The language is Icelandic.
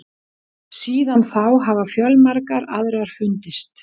Síðan þá hafa fjölmargar aðrar fundist.